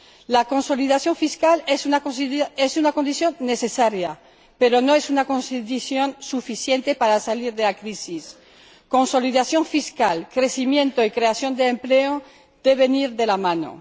La consolidación fiscal es una condición necesaria, pero no es una condición suficiente para salir de la crisis. Consolidación fiscal, crecimiento y creación de empleo deben ir de la mano.